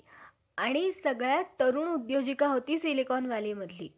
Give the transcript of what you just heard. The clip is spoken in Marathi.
त्या लोकां~ त्या लोकांविषयी मुळीच लेख नाही. जो यावरून तुज्या मते ब्राह्मणांमध्ये अदम दुराचारी मुळीच नाही.